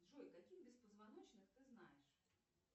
джой каких беспозвоночных ты знаешь